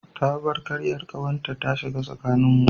Ta bar karyar kawarta ta shiga tsakaninmu.